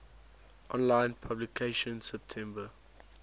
online publication september